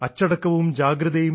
അച്ചടക്കവും ജാഗ്രതയും